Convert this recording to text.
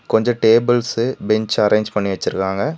கொஞ்சொ tables bench arrange பண்ணி வெச்சிருக்காங்க.